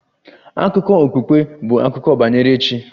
Akụkọ okpukpe bụ akụkọ banyere chi